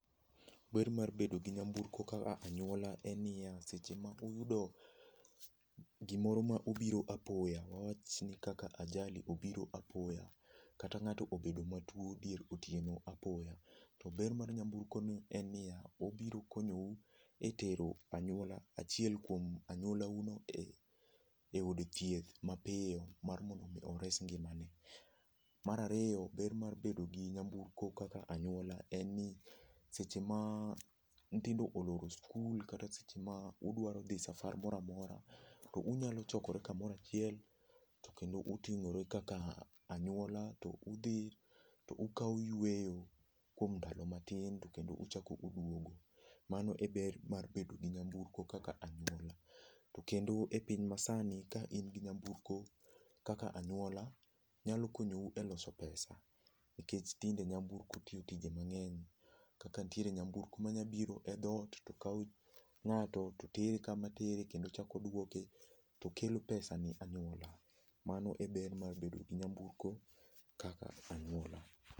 Ber mar bedo gi nyamburko kaka anyuola en niya, seche ma uyudo gimoro ma obiro apoya, wawach ni kaka ajali obiro apoya, kata ng'ato obedo matuo dier otieno apoya, to ber mar nyamburko en niya, obiro tero anyuola achiel kuom anyuolauno eod thieth mapiyo mar mondo mi ores ngimane. Mar ariyo ber mar bedo gi nyamburko kaka anyuola en ni seche ma nyithindo oloro skul kata seche ma idwa dhi safar moro amora, to unyalo chokre kamoro achiel kendo uting'ore kaka anyuola, udhi tzo ukawo yueyo kaka anyuola to kendo uchako uduogo. Mano e ber mar bedo gi nyamburko kaka anene. Kendo epiny masani ka in gi nyamburko kaka anyuola to nyalo konyou eloso pesa. Nikech tinde nyamburko tiyo tije mang'eny kaka nitiere nyamburko manyalo biro e dhoot to kawo ng'ato to tere kama tereye tochako duoke to kelo 5cs] pesa ne anyuola. Mano e ber mar bedo gi nyamburko kaka anyuola.